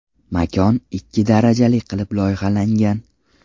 Makon ikki darajali qilib loyihalangan.